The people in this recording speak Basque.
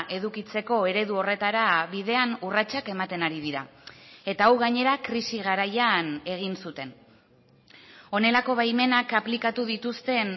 edukitzeko eredu horretara bidean urratsak ematen ari dira eta hau gainera krisi garaian egin zuten honelako baimenak aplikatu dituzten